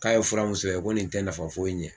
K'a ye fura mun sɛbɛn ko nin tɛ nafa foyi ɲɛ.